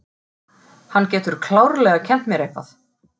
Hann getur klárlega kennt mér eitthvað.